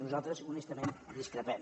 nosaltres honestament en discrepem